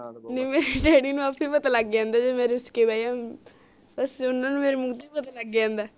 ਨਹੀਂ ਮੈਂ daddy ਨੂੰ ਆਪੇ ਪਤਾ ਲਗ ਜਾਂਦਾ ਜਦੋ ਮੈਂ ਰੁਸ ਕੇ ਬਹਿ ਜਾ ਵਸੇ ਓਹਨਾ ਨੂੰ ਮੇਰੇ ਮੂੰਹ ਤੋਂ ਪਤਾ ਲਗ ਜਾਂਦਾ